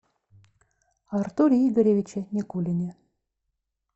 артуре игоревиче никулине